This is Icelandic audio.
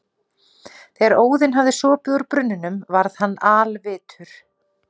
Þegar Óðinn hafði sopið úr brunninum varð hann alvitur.